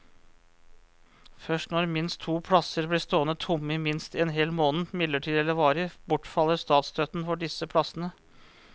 Først når minst to plasser blir stående tomme i minst en hel måned, midlertidig eller varig, bortfaller statsstøtten for disse plassene.